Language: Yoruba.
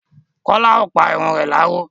Kọ́lá ò pa irun re láró.